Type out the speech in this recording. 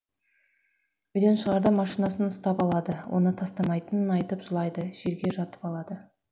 үйден шығарда машинасын ұстап алады оны тастамайтынын айтып жылайды жерге жатып алады